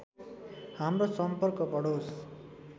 हाम्रो सम्पर्क बढोस्